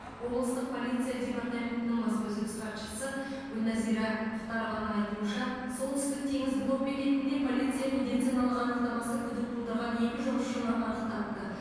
облыстық полиция департаментінің баспасөз хатшысы гүлнәзира мұхтарованың айтуынша солтүстік теңіз блок бекетінде полиция медициналық анықтамасы күдік тудырған екі жұмысшыны анықтапты